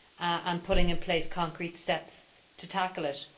and putting in place concrete steps to tackle it.